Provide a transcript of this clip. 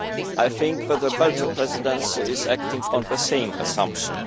I think that the Belgian Presidency is acting on the same assumption.